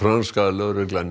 lögregla